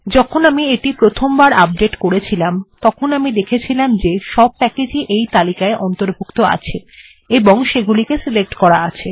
যখন আমি এটি প্রথমবার আপডেট্ করেছিলাম তখন আমি দেখেছিলাম যে সব প্যাকেজ্ ই তালিকায় অন্তর্ভুক্ত আছে এবং সেগুলিকে সিলেক্ট করা আছে